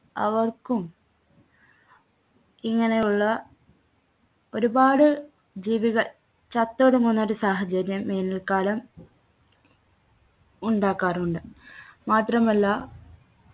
അവർക്കും ഇങ്ങനെയുള്ള ഒരുപാട് ജീവികൾ ചത്തൊടുങ്ങുന്നൊരു സാഹചര്യം വേനൽക്കാലം ഉണ്ടാക്കാറുണ്ട് മാത്രമല്ല